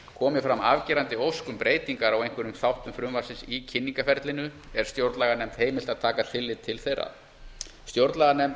komi fram afgerandi ósk um breytingar á einstökum þáttum frumvarpsins í kynningarferlinu er stjórnlaganefnd heimilt að taka tillit til þeirra stjórnlaganefnd